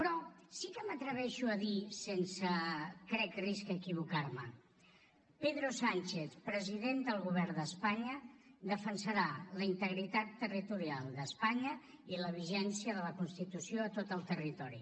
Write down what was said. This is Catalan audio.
però sí que m’atreveixo a dir sense crec risc a equivocar me pedro sánchez president del govern d’espanya defensarà la integritat territorial d’espanya i la vigència de la constitució a tot el territori